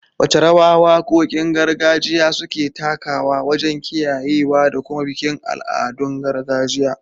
Wace rawa wakokin gargajiya suke takawa wajen kiyayewa da kuma bikin al'adun gargajiya?